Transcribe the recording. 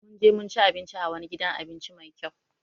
Mun je mun ci abinci a wani gidan abinci Mai kyau.